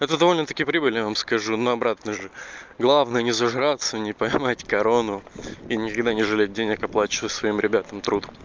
это довольно-таки прибыли я вам скажу на обратно же главное не зажигаться не поймать корону и никогда не жалей денег оплачиваю своим ребятам труд